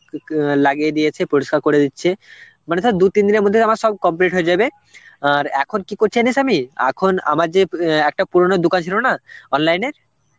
অ্যাঁ লাগিয়ে দিয়েছে, পরিষ্কার করে দিচ্ছে. মানে তোর দু তিন দিনের মধ্যে আমার সব complete হয়ে যাবে আর এখন কি করছি, জানিস আমি? এখন আমার যে অ্যাঁ একটা পুরনো দোকান ছিল না online এর